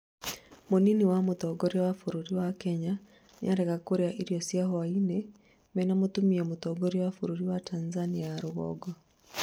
mũnini wa mũtongoria wa bũrũri wa Kenya, nĩarega kũrĩa irio cia hwaini mena mũtumia mũtongoria wa bũrũri wa Tanzania ya rũgongo